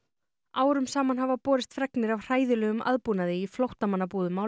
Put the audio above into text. árum saman hafa borist fregnir af hræðilegum aðbúnaði í flóttamannabúðum á